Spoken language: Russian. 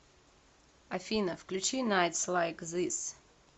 афина включи найтс лайк зис